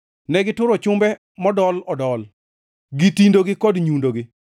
Negituro chumbe modol odol gi tindogi kod nyundogi.